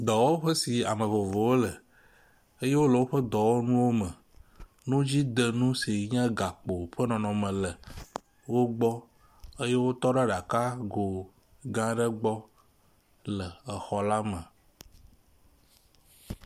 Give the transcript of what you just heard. Dɔwɔƒe si ame vovovowo le eye wole woƒe dɔwɔnuwo me nu dzi dem nu si nye gakpo ƒe nɔnɔme le wo gbɔ eye wotɔ ɖe aɖaka go gã aɖe gbɔ le xɔ la me.